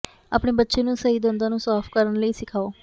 ਆਪਣੇ ਬੱਚੇ ਨੂੰ ਸਹੀ ਦੰਦਾਂ ਨੂੰ ਸਾਫ ਕਰਨ ਲਈ ਸਿਖਾਓ